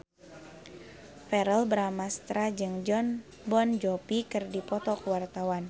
Verrell Bramastra jeung Jon Bon Jovi keur dipoto ku wartawan